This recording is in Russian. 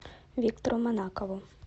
виктору манакову